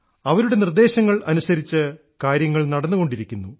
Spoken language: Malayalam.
അവരുടെ നിർദ്ദേശങ്ങൾ അനുസരിച്ച് കാര്യങ്ങൾ നടന്നുകൊണ്ടിരിക്കുന്നു